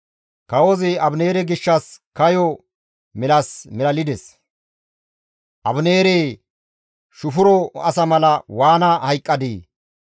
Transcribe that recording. Kawozi Abineere gishshas kayo milas milalides; «Abineeree! Shufuro asa mala waana hayqqadii?